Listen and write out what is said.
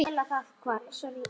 Helgi rýnir.